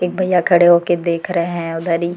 एक भैया खड़े हो के देख रहे हैं उधर ही।